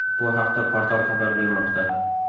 Bu haqda portal xabar bermoqda .